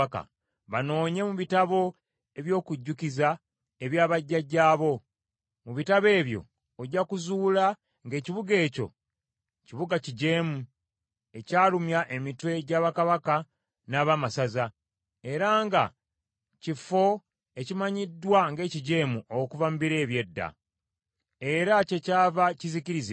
banoonye mu bitabo eby’okujjukiza ebya bajjajjaabo. Mu bitabo ebyo ojja kuzuula ng’ekibuga ekyo kibuga kijeemu, ekyalumya emitwe gya bakabaka n’abaamasaza, era nga kifo ekimanyiddwa ng’ekijeemu okuva mu biro eby’edda. Era kyekyava kizikirizibwa.